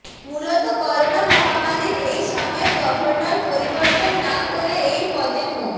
মূলত করোনা মহামারির এই সময়ে গভর্নর পরিবর্তন না করে এই পদে মো